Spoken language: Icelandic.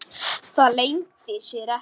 Það leyndi sér ekki.